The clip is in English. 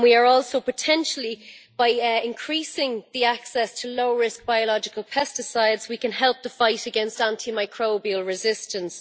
Also potentially, by increasing the access to low risk biological pesticides, we can help the fight against antimicrobial resistance.